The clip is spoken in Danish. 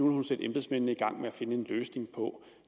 hun sætte embedsmændene i gang med at finde en løsning på